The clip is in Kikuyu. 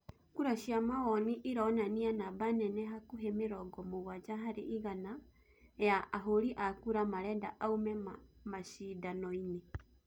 Kura cia mawoni irũnania namba nene hakuhi mĩrongo mũgwaja hari igana ya ahũri a kura marenda aume maciindanũinĩ